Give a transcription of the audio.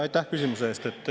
Aitäh küsimuse eest!